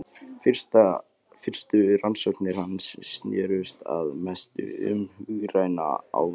Fyrstu rannsóknir hans snerust að mestu um hugræna áreynslu og eftirtekt.